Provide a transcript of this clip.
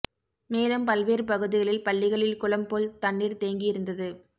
மேலும் பல்வேறு பகுதிகளில் பள்ளிகளில் குளம் போல் தண்ணீர் தேங்கி இருந்தது